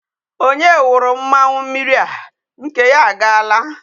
Onye wuru mmanwu mmiri a? Nke ya agaala.